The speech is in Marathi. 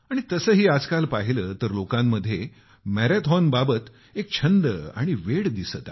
तसंही आजकाल पाहिलं तर लोकांमध्ये मॅराथॉनबाबत एक छंद आणि वेड दिसत आहे